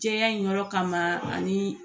Jɛya in yɔrɔ kama ani